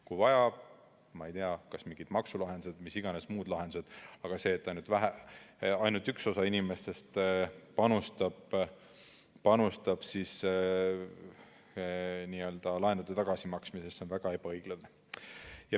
Kui vaja, ma ei tea, siis tulgu mingid maksulahendused või mis iganes muud lahendused, aga see, et ainult üks osa inimestest panustab laenude tagasimaksmisesse, on väga ebaõiglane.